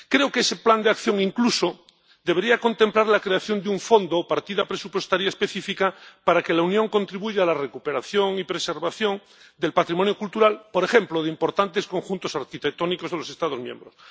Creo que ese plan de acción incluso debería contemplar la creación de un fondo o partida presupuestaria específica para que la Unión contribuya a la recuperación y preservación del patrimonio cultural, por ejemplo, de importantes conjuntos arquitectónicos de los Estados miembros.